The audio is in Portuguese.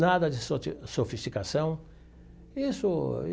Nada de soti sofisticação isso.